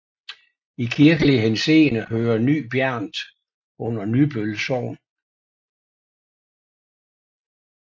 I kirkelig henseende hører Ny Bjernt under Nybøl Sogn